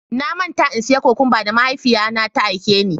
Na manta in siya cokumba da mahaifiya na ta aike ni.